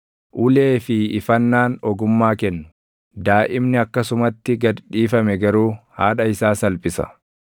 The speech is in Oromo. Ulee fi ifannaan ogummaa kennu; daaʼimni akkasumatti gad dhiifame garuu haadha isaa salphisa.